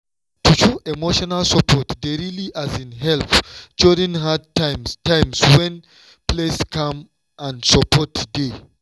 to show emotional support dey really help during hard times times when place calm and support dey.